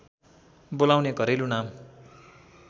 बोलाउने घरेलु नाम